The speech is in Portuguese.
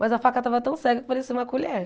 Mas a faca estava tão cega que parecia uma colher.